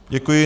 Děkuji.